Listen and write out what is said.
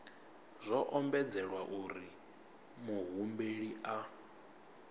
zwo ombedzelwa uri muhumbeli a